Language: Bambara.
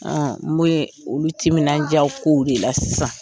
Aa n bɛ olu timinan diya kow de la sisan.